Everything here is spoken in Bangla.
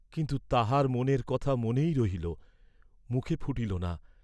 কিন্তু তাহার মনের কথা মনেই রহিল, মুখে ফুটিল না।